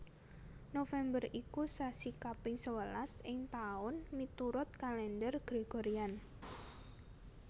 November iku sasi kaping sewelas ing taun miturut Kalendher Gregorian